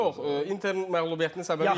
Yox, mən sənin məntiqini çox qəbul edirəm.